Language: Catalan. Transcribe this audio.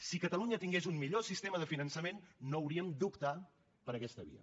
si catalunya tingués un millor sistema de finançament no hauríem d’optar per aquesta via